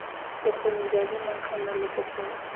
bokgoni jwa dinaga maloko gore